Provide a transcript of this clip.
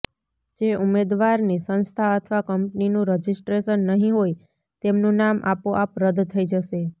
જે ઉમેદવારની સંસ્થા અથવા કંપનીનું રજિસ્ટ્રેશન નહીં હોય તેમનું નામ આપોઆપ રદ થઈ જશે